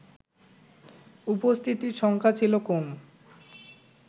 উপস্থিতির সংখ্যা ছিল কম